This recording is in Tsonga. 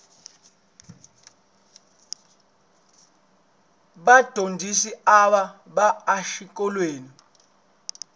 vadyondzisi ava ba exikolweni